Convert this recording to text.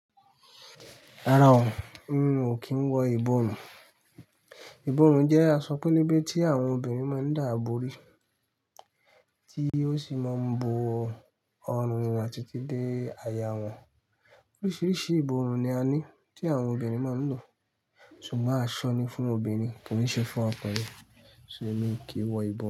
Rárá o, mí ò kí ń wọ ìbòrun. Ìbòrun jẹ́ aṣọ pẹ́lebẹ́ tí àwọn obìnrin máa ń dààbò rí, tí ó sì máa ń bo ọrùn àti ti dé aya wọn. Oríṣiríṣi ìbòrun ni a ní tí àwọn obìnrin máa ń lò. Sùgbon àsọ ni fún ọmọbìnrin, kò í ṣe fún ọkùnrin. Ṣo mi ki i wọ ìbòrun?